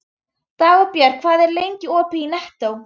Dagbjartur, hvað er lengi opið í Nettó?